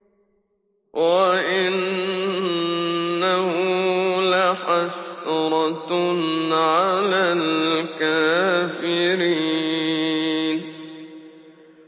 وَإِنَّهُ لَحَسْرَةٌ عَلَى الْكَافِرِينَ